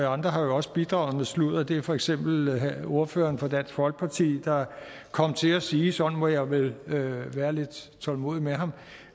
andre har også bidraget med sludder det er for eksempel ordføreren for dansk folkeparti der kom til at sige sådan må jeg vel være lidt tålmodig med ham